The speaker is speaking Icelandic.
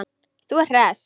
Þú ert hress!